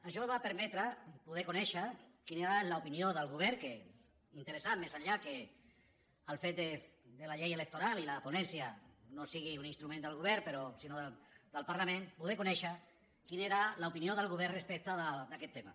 això va permetre poder conèixer quina era l’opinió del govern que era interessant més enllà del fet que la llei electoral i la ponència no siguin un instrument del govern sinó del parlament poder conèixer quina era l’opinió del govern respecte d’aquest tema